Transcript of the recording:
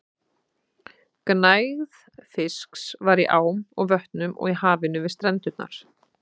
Gnægð fisks var í ám og vötnum og í hafinu við strendurnar.